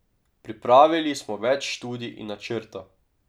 Pripravili smo več študij in načrtov.